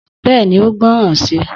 Bẹ́ẹ̀ni, ó gbọ́ràn si